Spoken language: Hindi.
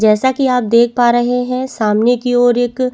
जैसा की आप देख पा रहे है सामने की ओर एक --